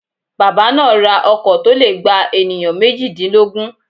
Bàbá náà ra ọkọ̀ to le gba ènìyàn méjìdínlógún